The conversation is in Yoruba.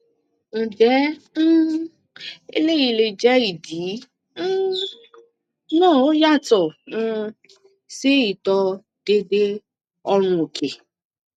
nje um eleyi le je idi um na oyato um si ito deede oorun oke